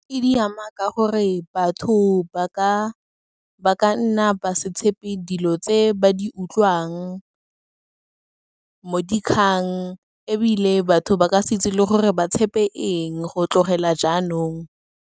E di ama, ka gore batho ba ka nna ba se tshepe dilo tse, ba di utlwang mo dikgang, ebile batho ba ka se itse le gore ba tshepe eng go tlogela jaanong.